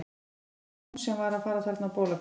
Var það ekki hún sem var að fara þarna á bólakaf?